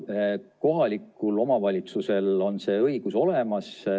Jaa, kohalikul omavalitsusel on see õigus olemas.